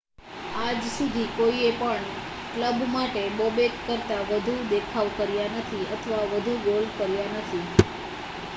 આજ સુધી કોઈએ પણ કલબ માટે બોબેક કરતા વધુ દેખાવ કર્યા નથી અથવા વધુ ગોલ કર્યા નથી